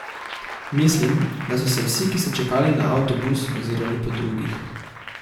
Mislim, da so se vsi, ki so čakali na avtobus, ozirali po drugih.